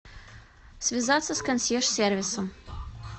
связаться с консьерж сервисом